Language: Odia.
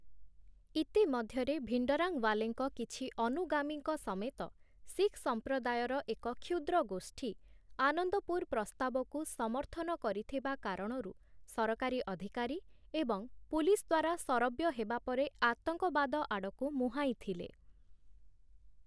ଇତି ମଧ୍ୟରେ, ଭିଣ୍ଡରାଂୱାଲେଙ୍କ କିଛି ଅନୁଗାମୀଙ୍କ ସମେତ ଶିଖ୍ ସମ୍ପ୍ରଦାୟର ଏକ କ୍ଷୁଦ୍ର ଗୋଷ୍ଠୀ 'ଆନନ୍ଦପୁର ପ୍ରସ୍ତାବ'କୁ ସମର୍ଥନ କରିଥିବା କାରଣରୁ ସରକାରୀ ଅଧିକାରୀ ଏବଂ ପୁଲିସ୍ ଦ୍ୱାରା ଶରବ୍ୟ ହେବା ପରେ ଆତଙ୍କବାଦ ଆଡ଼କୁ ମୁହାଁଇଥିଲେ ।